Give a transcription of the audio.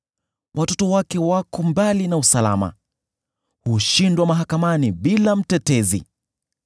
Watoto wake wako mbali na usalama, hushindwa mahakamani bila mtetezi.